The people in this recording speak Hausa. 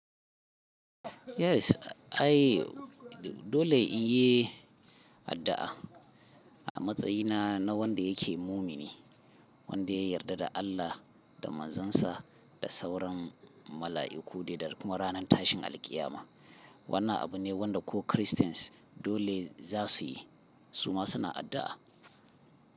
Yes, ai dole in yi addu'a a matsayina na wanda yake mumini, wanda ya yarda da Allah da Manzansa da sauran mala'iku da kuma ranar tashin alƙiyama. Wannan abu ne wanda ko Christians dole za su yi. Su ma suna addu'a.